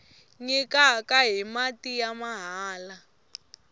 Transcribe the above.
nyikana hi mati ya mahala